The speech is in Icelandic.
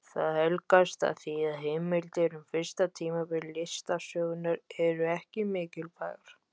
Það helgast af því að heimildir um fyrsta tímabil listasögunnar eru ekki miklar.